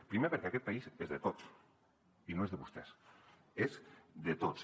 primer perquè aquest país és de tots i no és de vostès és de tots